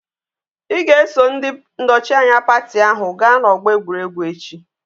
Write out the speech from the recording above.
Ị ga-eso ndị nnọchianya pati ahụ gaa n'ọgbọ egwuregwu echi!